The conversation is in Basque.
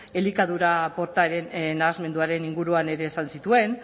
elikadura portaeren nahasmenduaren inguruan ere esan zituen